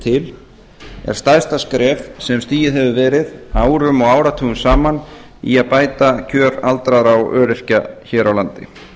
til er stærsta skref sem stigið hefur verið árum og áratugum saman í að bæta kjör aldraðra og öryrkja hér á landi